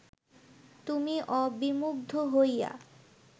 তুমি অবিমুগ্ধ হইয়া